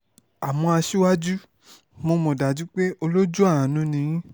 àmọ́ aṣíwájú mo mọ̀ dájú pé olójú àánú ni yín